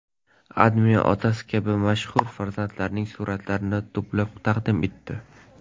AdMe otasi kabi mashhur farzandlarning suratlarini to‘plab taqdim etdi .